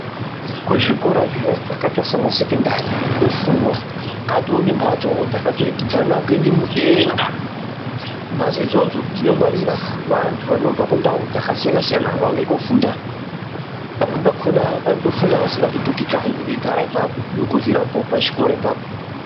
Kuzvikora zviya zvakaita saana sekendari kunofundwa, katove nembatsowo dzakaturikidzana kuende mudenga. Mbatso idzodzo dzinongwarira vantu vanobva kundau dzakasiyana siyana vauya kofunda. Pamweni pakona vanotofunda vasingapetuki kanyi, veigara ipapo nekuryirapo pachikoro ipapo.